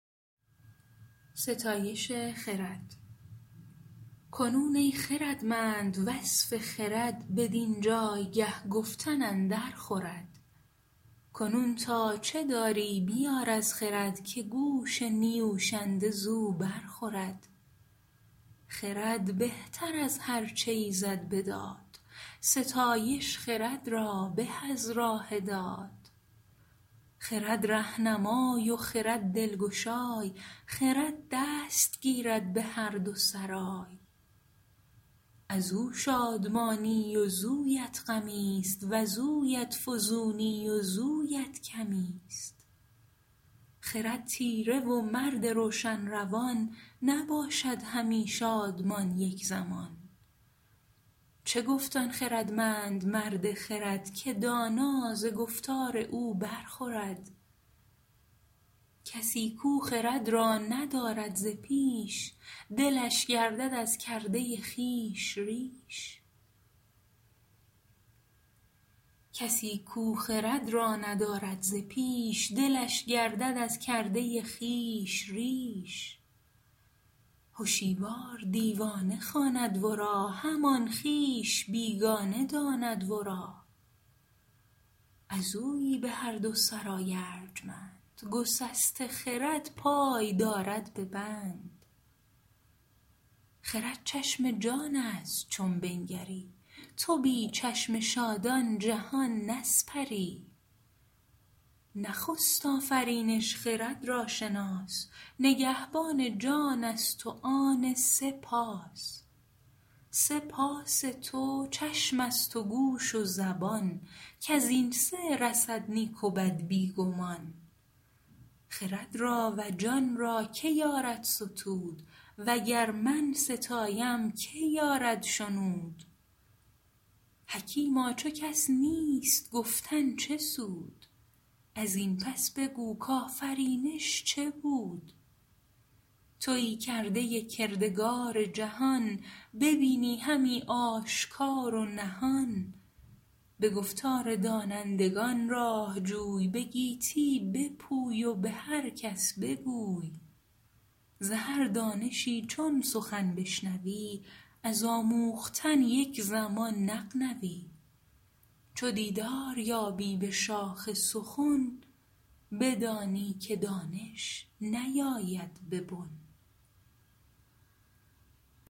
کنون ای خردمند وصف خرد بدین جایگه گفتن اندر خورد کنون تا چه داری بیار از خرد که گوش نیوشنده زو بر خورد خرد بهتر از هر چه ایزد بداد ستایش خرد را به از راه داد خرد رهنمای و خرد دلگشای خرد دست گیرد به هر دو سرای از او شادمانی وزویت غمی است وزویت فزونی وزویت کمی است خرد تیره و مرد روشن روان نباشد همی شادمان یک زمان چه گفت آن خردمند مرد خرد که دانا ز گفتار او بر خورد کسی کو خرد را ندارد ز پیش دلش گردد از کرده خویش ریش هشیوار دیوانه خواند ورا همان خویش بیگانه داند ورا از اویی به هر دو سرای ارجمند گسسته خرد پای دارد به بند خرد چشم جان است چون بنگری تو بی چشم شادان جهان نسپری نخست آفرینش خرد را شناس نگهبان جان است و آن سه پاس سه پاس تو چشم است و گوش و زبان کز این سه رسد نیک و بد بی گمان خرد را و جان را که یارد ستود و گر من ستایم که یارد شنود حکیما چو کس نیست گفتن چه سود از این پس بگو کآفرینش چه بود تویی کرده کردگار جهان ببینی همی آشکار و نهان به گفتار دانندگان راه جوی به گیتی بپوی و به هر کس بگوی ز هر دانشی چون سخن بشنوی از آموختن یک زمان نغنوی چو دیدار یابی به شاخ سخن بدانی که دانش نیاید به بن